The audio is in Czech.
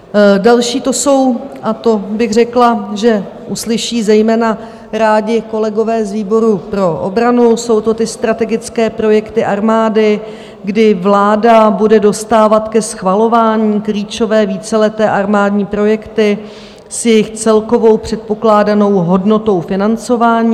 Další to jsou, a to bych řekla, že uslyší zejména rádi kolegové z výboru pro obranu, jsou to ty strategické projekty armády, kdy vláda bude dostávat ke schvalování klíčové víceleté armádní projekty s jejich celkovou předpokládanou hodnotou financování.